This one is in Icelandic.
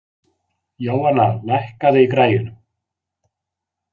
Jóanna, lækkaðu í græjunum.